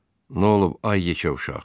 Nə olub ay yekə uşaq?